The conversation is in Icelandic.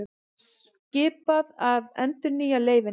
Skipað að endurnýja leyfin